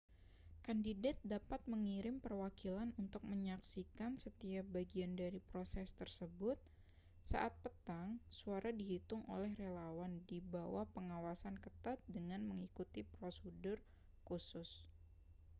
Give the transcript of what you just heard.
kandidat dapat mengirim perwakilan untuk menyaksikan setiap bagian dari proses tersebut saat petang suara dihitung oleh relawan di bawah pengawasan ketat dengan mengikuti prosedur khusus